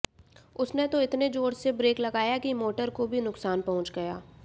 उसने तो इतने जोर से ब्रेक लगाया कि मोटर को भी नुकसान पहुंच गया